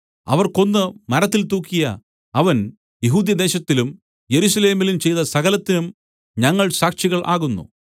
അവർ കൊന്ന് മരത്തിൽ തൂക്കിയ അവൻ യെഹൂദ്യദേശത്തിലും യെരൂശലേമിലും ചെയ്ത സകലത്തിനും ഞങ്ങൾ സാക്ഷികൾ ആകുന്നു